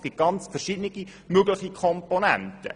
Es gibt verschiedene mögliche Komponenten.